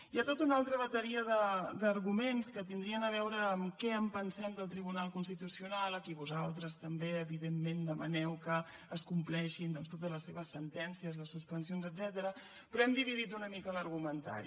hi ha tota una altra bateria d’arguments que tindrien a veure amb què en pensem del tribunal constitucional a qui vosaltres també evidentment demaneu que es compleixin doncs totes les seves sentències les suspensions etcètera però hem dividit una mica l’argumentari